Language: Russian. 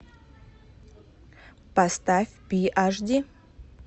поставь пи аш ди